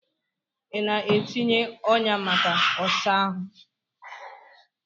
Ị na-etinye ọnyà maka ọsa ahụ?